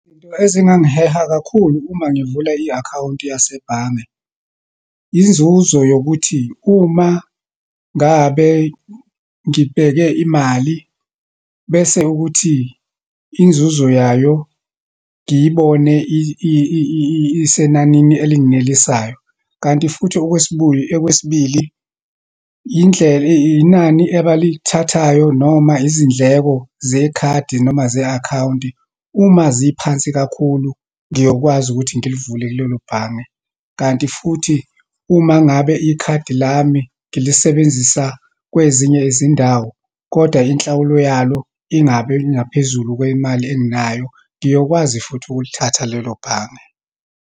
Into ezingangiheha kakhulu uma ngivula i-akhawunti yasebhange. Inzuzo yokuthi, uma ngabe ngibheke imali bese ukuthi inzuzo yayo ngiyibone isenanini elinginelisayo. Kanti futhi okwesibili, indlela, inani abalithathayo, noma izindleko zekhadi, noma ze-akhawunti, uma ziphansi kakhulu, ngiyokwazi ukuthi ngilivule kulelo bhange. Kanti futhi, uma ngabe ikhadi lami ngilisebenzisa kwezinye izindawo, kodwa inhlawulo yalo ingabi ingaphezulu kwemali engenayo, ngiyokwazi futhi ukulithatha lelo bhange.